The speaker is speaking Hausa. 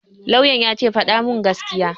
Lauyan ya ce 'Faɗa mun gaskiya'!